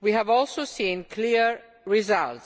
We have also seen clear results